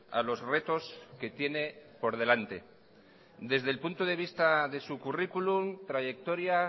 a los retos que tiene por delante desde el punto de vista de su currículum trayectoria